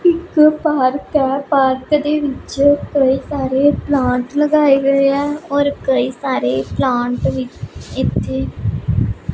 ਇੱਕ ਪਾਰਕ ਹੈ ਪਾਰਕ ਦੇ ਵਿੱਚ ਕਈ ਸਾਰੇ ਪਲਾਂਟਸ ਲਗਾਏ ਗਏ ਹੈਂ ਔਰ ਕਈ ਸਾਰੇ ਪਲਾਂਟ ਵੀ ਇੱਥੇ --